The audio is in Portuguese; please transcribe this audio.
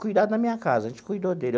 Cuidado na minha casa, a gente cuidou dele.